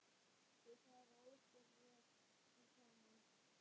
Þau fara ósköp vel saman